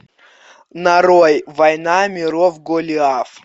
нарой война миров голиаф